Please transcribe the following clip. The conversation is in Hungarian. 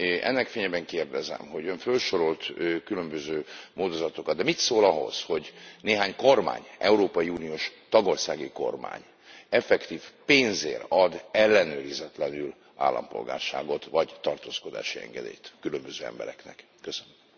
Ennek fényében kérdezem, hogy jóllehet Ön fölsorolt különböző módozatokat, de mit szól ahhoz, hogy néhány kormány európai uniós tagországi kormány effektív pénzért ad ellenőrizetlenül állampolgárságot, vagy tartózkodási engedélyt különböző embereknek? Köszönöm.